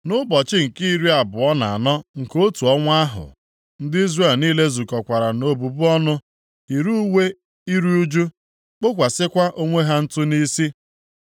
Nʼụbọchị nke iri abụọ na anọ nke otu ọnwa ahụ, ndị Izrel niile zukọkwara na obubu ọnụ, yiri uwe iru ụjụ, kpokwasịkwa onwe ha ntụ nʼisi.